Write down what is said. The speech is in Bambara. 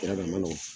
Yɔrɔ dɔ ma nɔgɔ